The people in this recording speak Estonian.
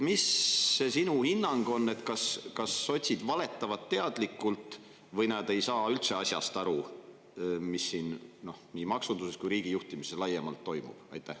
Mis see sinu hinnang on, kas sotsid valetavad teadlikult või nad ei saa üldse aru, mis nii maksunduses kui riigi juhtimises laiemalt toimub?